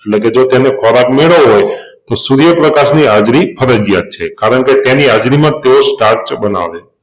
એટલેકે જો તેને ખોરાક મેળવવો હોય તો સુર્યપ્રકાશની હાજરી ફરજીયાત છે. કારણકે તેની હાજરીમાંજ તેઓ સ્ટાર્ચ બનાવે